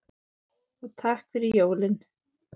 Og takk fyrir jólin.